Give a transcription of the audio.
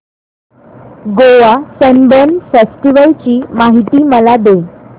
Goa Sunburn festival ची माहिती मला दे